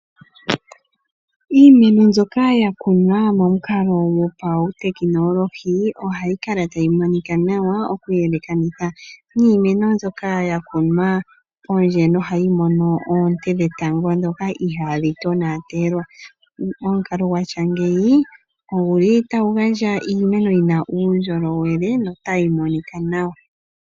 Iimeno mbyoka ya kunwa momukapo go pautekinolohi ohayi kala tayi monika nawa okuyelekanitha niimeno mbyoka ya kunwa pondje, nohayi mono oonte dhetango dhoka ihadhi tonatelwa. Omukalo gwa tya ngeyi oguli tagu gandja iimeno yi na uundjolowele no tayi monika nawa.